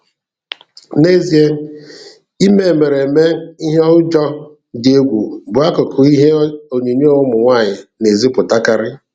N'ezie, ime emereme ihe ụjọ dị egwu bụ akụkụ ihe onyonyo ụmụ nwaanyị na-ezipụtakarị.